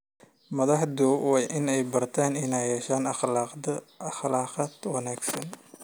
Madaxdu waa inay bartaan inay yeeshaan akhlaaq wanaagsan.